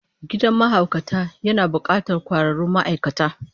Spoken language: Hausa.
Gidan mahaukata yana bukatar kwararrun ma'aikata